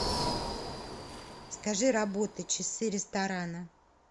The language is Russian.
скажи работы часы ресторана